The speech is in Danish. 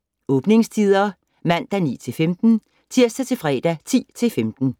Åbningstider: Mandag: 9-15 Tirsdag - fredag: 10-15